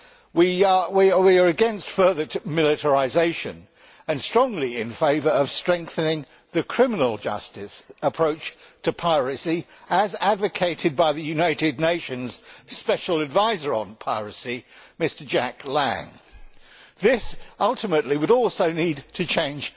We are against further militarisation and strongly in favour of strengthening the criminal justice approach to piracy, as advocated by the United Nations Special Advisor on Piracy, Mr Jack Lang. This ultimately would also need a change